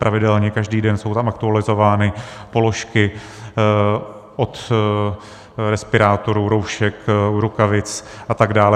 Pravidelně každý den jsou tam aktualizovány položky od respirátorů, roušek, rukavic a tak dále.